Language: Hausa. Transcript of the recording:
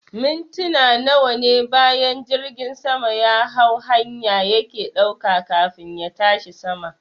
Mintina nawane bayan jirgin sama yahau hanya yake ɗauka kafin ya tashi sama